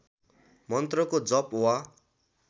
मन्त्रको जप वा